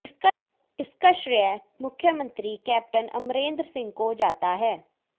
इसका श्रेय मुख्यमंत्री कैप्टन अमरेंद्र सिंह को जाता है